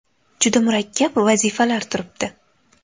Juda murakkab vazifalar turibdi.